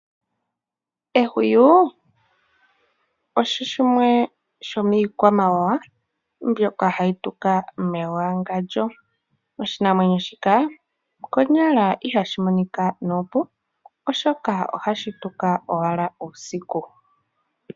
Ehuwi osho shimwe sho miikwamawawa mbyoka hayi tuka mewangandjo. Oshinamwenyo shika konyala ihashi monika nuupu, oshoka ohashi tula owala uusiku.